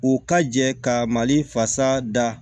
U ka jɛ ka mali fasa da